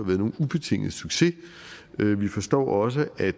været nogen ubetinget succes vi forstår også at